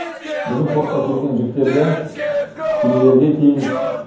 біздің портқа келген жүктерді кемелерге тиейміз